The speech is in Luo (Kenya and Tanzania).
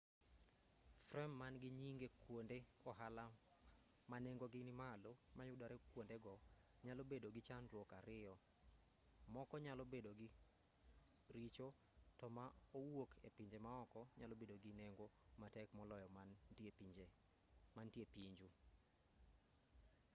frem man-gi nyinge kuonde ohala ma nengogi nimalo ma yudore kuondego nyalo bedogi chandruok ariyo moko nyalo bedo richo to ma owuok epinje maoko nyalo bedo gi nengo matek moloyo man tie pinju